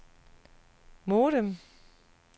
modem